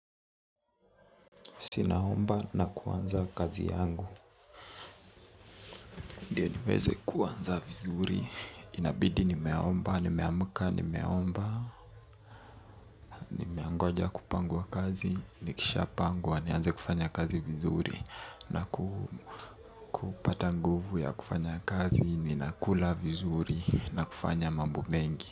Sinaomba na kuanza kazi yangu. Ndiye niweze kuanza vizuri. Inabidi nimeomba, nimeamka, nimeomba. Nangoja kupangwa kazi, nikishapangwa, nianze kufanya kazi vizuri. Na kupata nguvu ya kufanya kazi, ninakula vizuri na kufanya mambo mengi.